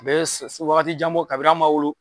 U be se wagati janbɔ kabini an ma wolo